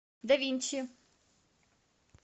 давинчи